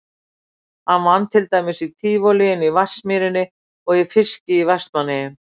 Hann vann til dæmis í Tívolíinu í Vatnsmýrinni og í fiski í Vestmannaeyjum.